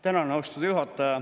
Tänan, austatud juhataja!